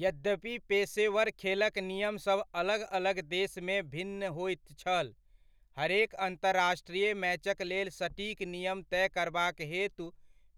यद्यपि पेशेवर खेलक नियमसभ अलग अलग देशमे भिन्न होइत छल, हरेक अंतर्राष्ट्रीय मैचक लेल सटीक नियम तय करबाक हेतु